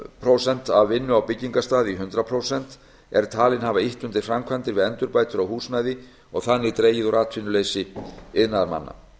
prósent af vinnu á byggingarstað í hundrað prósent er talin hafa ýtt undir framkvæmdir við endurbætur á húsnæði og þannig dregið úr atvinnuleysi iðnaðarmanna